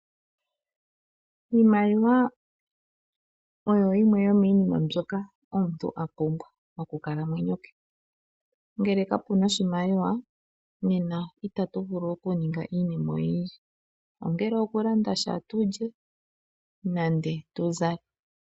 Iimaliwa oyo yimwe yomiinima mbyoka omuntu a pumbwa mokukalamwenyo kwe . Ngele ka puna oshimaliwa, nena ita tu vulu oku ninga iinima oyindji, ongele oku landa sha tulye nande tu zale.